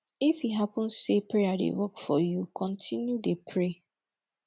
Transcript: if e hapun sey prayer dey work for yu kontinu dey pray